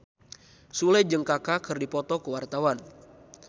Sule jeung Kaka keur dipoto ku wartawan